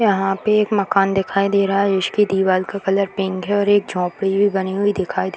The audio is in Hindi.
यहाँ पे एक मकान दिखाई दे रहा है जिसकी दीवार का कलर पिंक है और एक झोपड़ी भी बनी हुई दिखाई दे --